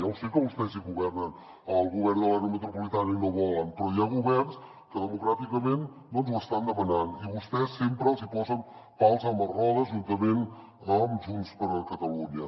ja sé que vostès hi governen al govern de l’àrea metropolitana i no ho volen però hi ha governs que democràticament ho estan demanant i vostès sempre els hi posen pals a les rodes juntament amb junts per catalunya